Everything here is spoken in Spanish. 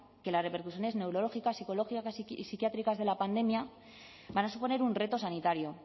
que las repercusiones neurológicas psicológicas y psiquiátricas de la pandemia van a suponer un reto sanitario